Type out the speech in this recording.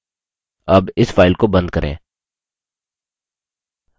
अब इस file को बंद करें